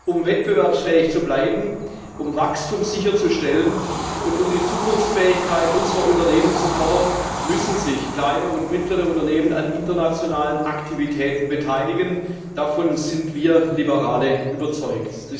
Um wettbewerbsfähig zu bleiben, um Wachstum sicherzustellen und um die Zukunftsfähigkeit unserer Unternehmen zu fördern, müssen sich kleine und mittlere Unternehmen an internationalen Aktivitäten beteiligen, davon sind wir Liberale überzeugt.